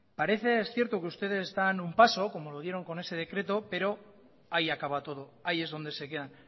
parece cierto que usted daban un paso como lo dieron con ese decreto pero ahí acaba todo ahí es donde se quedan